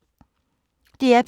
DR P2